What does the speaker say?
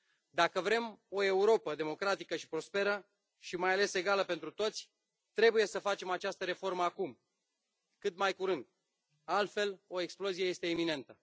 Dacă vrem o Europă democratică și prosperă și mai ales egală pentru toți, trebuie să facem această reformă acum, cât mai curând, altfel, o explozie este iminentă.